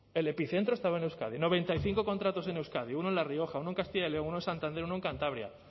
el epicentro estaba en euskadi noventa y cinco contratos en euskadi uno en la rioja uno en castilla y león uno en santander uno en cantabria